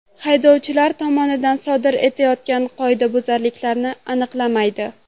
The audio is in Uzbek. Haydovchilar tomonidan sodir etilayotgan qoidabuzarliklarni aniqlamaydi.